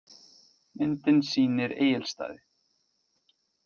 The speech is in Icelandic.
Myndin sýnir Egilsstaði.